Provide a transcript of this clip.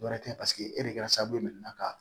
Dɔ wɛrɛ tɛ paseke e de kɛra sababu ye man ka